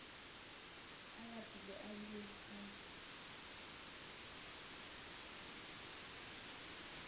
a lapile a bile a